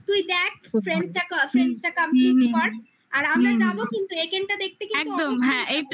তুই দেখ friends টা কর friends টা complete কর আর আমরা যাবো কিন্তু একেনটা দেখতে কিন্তু অবশ্যই যাব